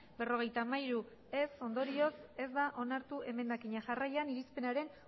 berrogeita hamairu ez ondorioz ez da onartu emendakina jarraian irizpenaren